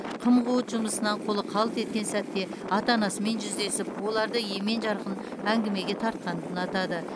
қым қуыт жұмысынан қолы қалт еткен сәтте ата анасымен жүздесіп оларды емен жарқын әңгімеге тартқанды ұнатады